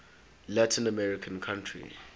latin american country